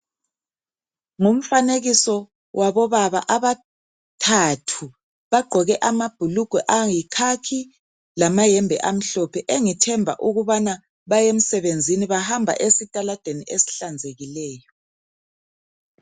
Ngumfanekiso wabobaba abathathu bagqoke lamabhulugwe ayi khakhi lamayembe amhlophe engithemba ukubana baya emsebenzini bahamba esitaladeni esihlanzekileyo.